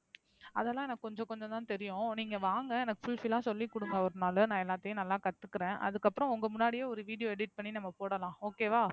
அதெல்லாம் எனக்கு கொஞ்சம், கொஞ்சம் தான் தெரியும். நீங்க வாங்க எனக்கு fulfill ஆ சொல்லிக்குடுங்க ஒரு நாளு நான் எல்லாத்தையும் நல்லா கத்துக்குறேன். அதுக்கப்பறம் உங்க முன்னாடியே ஒரு video edit பண்ணி நம்ம போடலாம் okay வா.